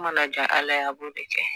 Mana ja ala ye a b'o de kɛ